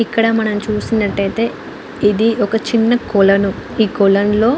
ఇక్కడ మనం చూసినట్టు అయ్యితే ఏది ఒక చిన్న కొలను ఈ కొలనులో --